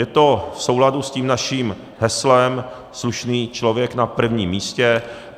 Je to v souladu s tím naším heslem "slušný člověk na prvním místě".